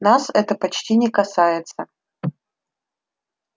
нас это почти не касается